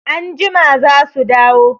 Anjima za su dawo.